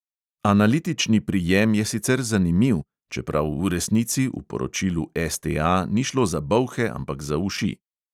Analitični prijem je sicer zanimiv, čeprav v resnici v poročilu STA ni šlo za bolhe, ampak za uši.